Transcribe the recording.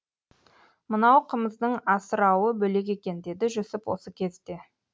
мынау қымыздың асырауы бөлек екен деді жүсіп осы кезде